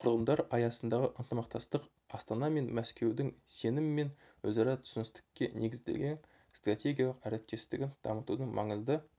құрылымдар аясындағы ынтымақтастық астана мен мәскеудің сенім мен өзара түсіністікке негізделген стратегиялық әріптестігін дамытудың маңызды